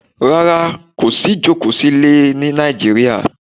Rárá, kò sí jókòó sílé ẹ ní Nàìjíríà.